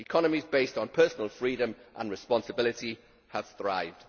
Economies based on personal freedom and responsibility have thrived.